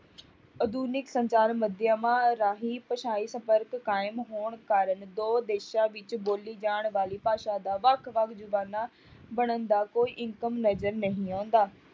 ਆਧੁਨਿਕ ਸੰਚਾਰ ਮਾਧਿਅਮਾਂ ਰਾਹੀਂ ਭਾਸ਼ਾਈ ਸੰਪਰਕ ਕਾਇਮ ਹੋਣ ਕਾਰਨ ਦੋ ਦੇਸ਼ਾਂ ਵਿੱਚ ਬੋਲੀ ਜਾਣ ਵਾਲੀ ਭਾਸ਼ਾ ਦਾ ਵੱਖ ਵੱਖ ਜ਼ੁਬਾਾਨਾਂ ਬਣਨ ਦਾ ਕੋਈ ਨਜ਼ਰ ਨਹੀਂ ਆਉਂਦਾ